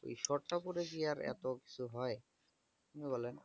শর্তউপদেশ দিয়ে র এত কিছু হয়? কি বলেন?